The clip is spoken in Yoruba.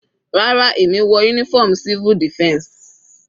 Rárá, èmi wọ uniform civil defense.